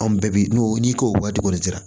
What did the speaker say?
Anw bɛɛ bi n'o n'i k'o waati kɔni sera